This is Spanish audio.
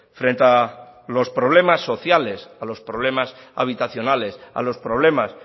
frente a los problemas sociales a los problemas habitacionales a los problemas